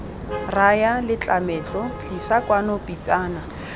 raya letlametlo tlisa kwano pitsana